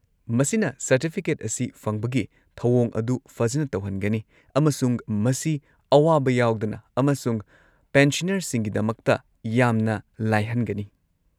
ꯃꯁꯤꯅ ꯁꯔꯇꯤꯐꯤꯀꯦꯠ ꯑꯁꯤ ꯐꯪꯕꯒꯤ ꯊꯧꯑꯣꯡ ꯑꯗꯨ ꯐꯖꯅ ꯇꯧꯍꯟꯒꯅꯤ ꯑꯃꯁꯨꯡ ꯃꯁꯤ ꯑꯋꯥꯕ ꯌꯥꯎꯗꯅ ꯑꯃꯁꯨꯡ ꯄꯦꯟꯁꯅꯔꯁꯤꯡꯒꯤꯗꯃꯛꯇ ꯌꯥꯝꯅ ꯂꯥꯏꯍꯟꯒꯅꯤ꯫